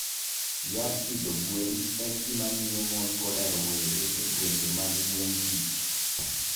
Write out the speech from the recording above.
Yath pidho gwen en gima miyo mon koda rowere e gwenge mag gweng' tich.